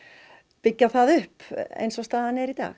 byggja það upp eins og staðan er í dag